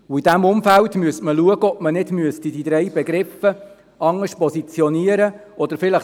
Hier müsste man schauen, ob diese drei Begriffe nicht etwas anders positioniert werden sollten.